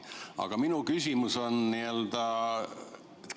Aga minu küsimus on selle kohta.